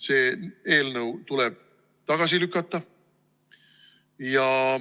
See eelnõu tuleb tagasi lükata.